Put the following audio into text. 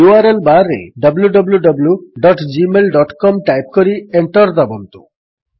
URLବାର୍ ରେ wwwgmailcom type କରି enter ଦାବନ୍ତୁ